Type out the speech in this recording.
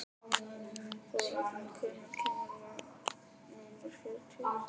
Þórhalla, hvenær kemur vagn númer fjörutíu og sex?